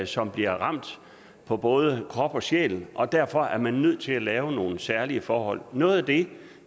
som bliver ramt på både krop og sjæl og derfor er man nødt til at lave nogle særlige forhold noget af det